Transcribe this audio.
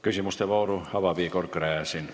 Küsimuste vooru avab Igor Gräzin.